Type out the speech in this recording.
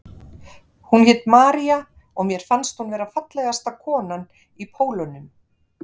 Hún hét María og mér fannst hún vera fallegasta konan í Pólunum.